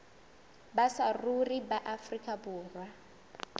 ba saruri ba afrika borwa